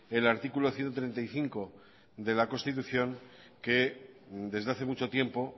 el artículo ciento treinta y cinco de la constitución que desde hace mucho tiempo